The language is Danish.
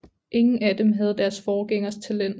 Ingen af dem havde deres forgængers talent